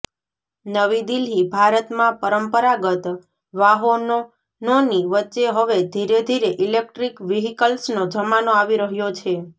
નવી દિલ્હીઃ ભારતમાં પરંપરાગત વાહોનનોની વચ્ચે હવે ધીરે ધીરે ઇલેક્ટ્રિક વ્હીકલ્સનો જમાનો આવી રહ્યો છે